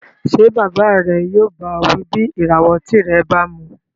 Ṣé bàbá rẹ yóò bá ọ wí bí ìràwọ̀ ọtí rẹ bá mu